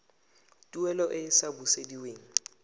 tuelo e e sa busediweng